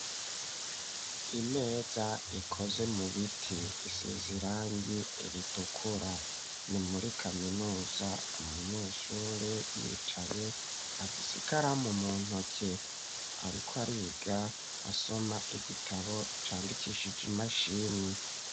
Imeza ikoze mu biti isize irangi ritukura, ni muri kaminuza, umunyeshuri yicaye afise ikaramu mu ntoke ariko ariga asoma igitabo candikishije imashini.